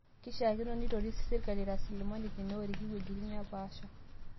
Keishakino nitoris sirkali rasilimali teneoriki wuejitin naapasha